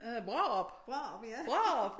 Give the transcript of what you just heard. Det hedder Brårup Brårup